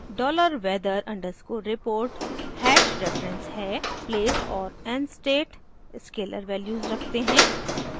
$weather_report hash reference है place और nstate scalar values रखते हैं